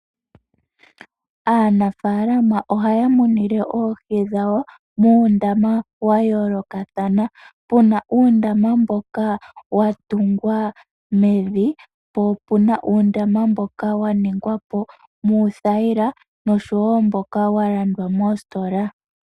Aanafaalama ohaya munine oohi dhawo muundama wa yoolokathana. Pu na uundama mboka wa tungwa mevi po opu na uundama mboka wa ningwa po muuthayila noshowo mboka wa landwa moositola.